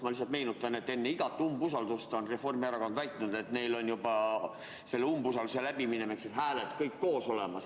Ma lihtsalt meenutan, et enne igat umbusaldust on Reformierakond väitnud, et neil on selle umbusalduse läbiminemiseks kõik hääled juba koos.